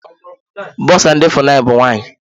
Bọsa ndị FUNAI bụ nwaanyị.